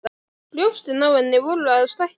Brjóstin á henni voru að stækka.